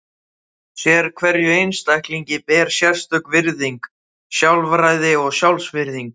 Sérhverjum einstaklingi ber sérstök virðing, sjálfræði og sjálfsvirðing.